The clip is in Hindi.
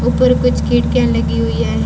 ऊपर कुछ खिड़कियां लगी हुई हैं।